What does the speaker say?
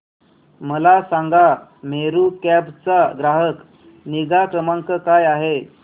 मला सांगा मेरू कॅब चा ग्राहक निगा क्रमांक काय आहे